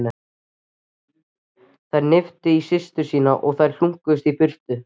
Hún hnippti í systur sína og þær hlunkuðust í burtu.